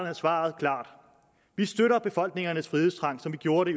er svaret klart vi støtter befolkningernes frihedstrang som vi gjorde det